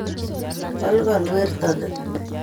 Kolkol werto ni